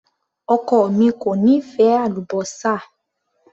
Ọkọ mi kò nífẹ̀ẹ́ àlúbósà.